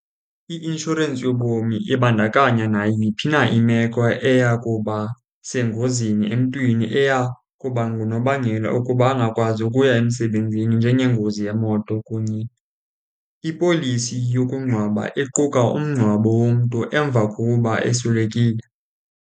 I-inshorensi yobomi ibandakanya nayiphi na imeko eya kuba sengozini emntwini eya kuba ngunobangela ukuba angakwazi ukuya emsebenzini njengengozi yemoto kunye. Ipolisi yokungcwaba iquka umngcwabo womntu emva kokuba eswelekile.